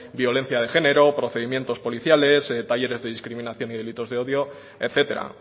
violencia de género procedimientos policiales talleres de discriminación y delitos de odio etcétera